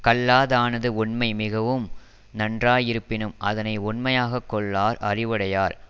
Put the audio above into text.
கல்லாதானது ஒண்மை மிகவும் நன்றாயிருப்பினும் அதனை ஒண்மையாகக் கொள்ளார் அறிவுடையார்